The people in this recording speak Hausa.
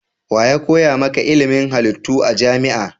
Wa ya koya maka ilimin halittu a jami'a?